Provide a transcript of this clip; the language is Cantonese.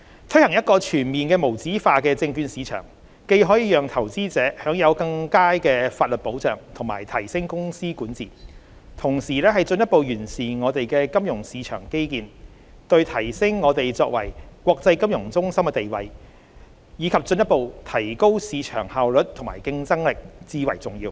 推行一個全面無紙化的證券市場，既可讓投資者享有更佳的法律保障及提升公司管治，同時進一步完善我們的金融市場基建，對提升我們作為國際金融中心的地位，以及進一步提高市場效率和競爭力至為重要。